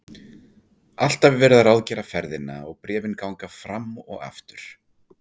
Alltaf er verið að ráðgera ferðina og bréfin ganga fram og aftur.